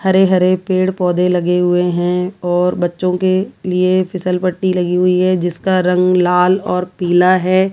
हरे-हरे पेड़ पौधे लगे हुए हैं और बच्चों के लिए फिसल पट्टी लगी हुई है जिसका रंग लाल और पीला है।